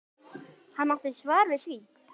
Hún átti svar við því.